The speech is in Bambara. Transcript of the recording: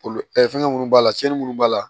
Olu fɛngɛ minnu b'a la cɛnni minnu b'a la